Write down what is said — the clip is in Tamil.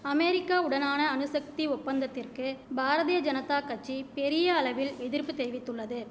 அமேரிக்கா உடனான அணுசக்தி ஒப்பந்தத்திற்கு பாரதிய ஜனத்தா கட்சி பெரிய அளவில் எதிர்ப்பு தெரிவித்துள்ளது